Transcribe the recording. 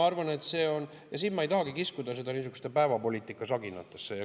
Ma ei tahagi siin kiskuda seda niisugustesse päevapoliitikasaginatesse.